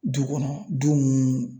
Du kɔnɔ du mun